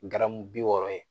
Garamu bi wɔɔrɔ ye